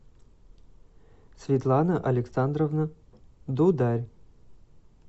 светлана александровна дударь